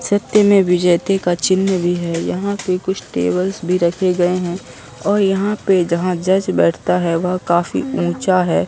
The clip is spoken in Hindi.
सत्यमेव जयते का चिन्ह भी है यहाँ पे कुछ टेबल्स भी रखे गए हैं और यहाँ पे जहाँ जज बैठता है वह काफी ऊंचा है।